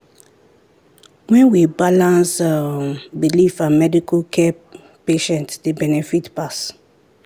when we balance um belief and medical care patients dey benefit pass.